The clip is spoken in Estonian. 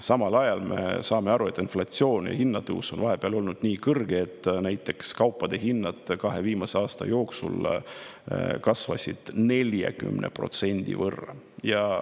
Me saame aga aru, et inflatsioon ja hinnatõus on vahepeal olnud nii, et näiteks kaupade hinnad kasvasid kahe viimase aasta jooksul 40% võrra.